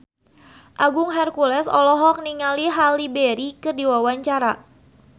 Agung Hercules olohok ningali Halle Berry keur diwawancara